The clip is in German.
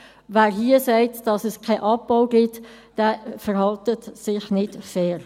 Wer hier sagt, dass es keinen Abbau gibt, verhält sich nicht fair.